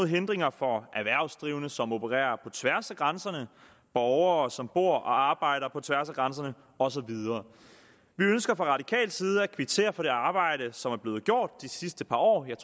hindringer for erhvervsdrivende som opererer på tværs af grænserne borgere som bor og arbejder på tværs af grænserne og så videre vi ønsker fra radikal side at kvittere for det arbejde som er blevet gjort de sidste par år jeg